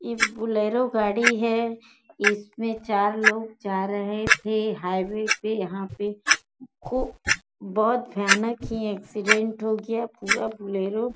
ई Bolero गाड़ी है। इसमें चार लोग जा रहे थे हाईवे पे यहाँ पे खूब बहुत भयानक ही एक्सीडेंट हो गया। पूरा बोलेरो --